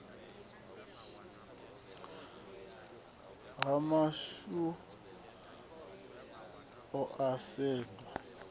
hafha hu dohwa ha sedzwa